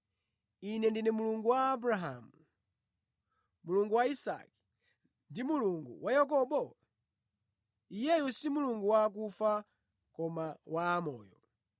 ‘Ine ndine Mulungu wa Abrahamu, Mulungu wa Isake ndi Mulungu wa Yakobo?’ Iyeyo si Mulungu wa akufa koma wa amoyo.”